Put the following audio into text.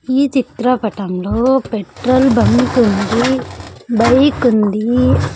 ఈ చిత్రపటంలో petrol bunk ఉంది బైక్ ఉంది.